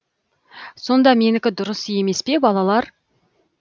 сонда менікі дұрыс емес пе балалар